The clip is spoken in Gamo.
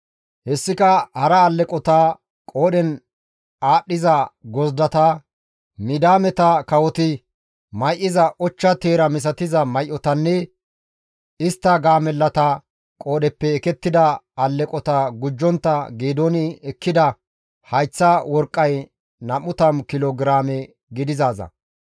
Hessika hara alleqota, qoodhen aaththiza gozdata, Midiyaameta kawoti may7iza ochcha teera misatiza may7otanne istta gaamellata qoodheppe ekettida alleqota gujjontta Geedooni ekkida hayththa worqqay 20 kilo giraame gidizaaza.